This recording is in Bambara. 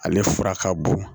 Ale fura ka bon